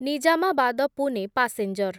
Nizamabad Pune passenger